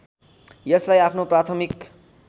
यसलाई आफ्नो प्राथमिक